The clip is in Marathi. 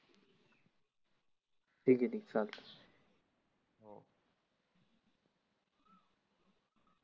ठिक आहे ठिक आहे चालतं.